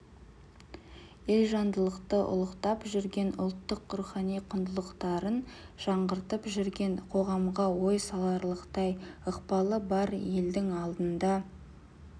елжандылықты ұлықтап жүрген ұлттың рухани құндылықтарын жаңғыртып жүрген қоғамға ой саларлықтай ықпалы бар елдің алдында